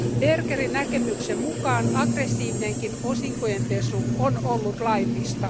Bergerin näkemyksen mukaan aggressiivinenkin osinkojen pesu on ollut laillista.